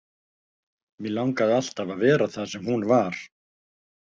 Mig langaði alltaf að vera þar sem hún var.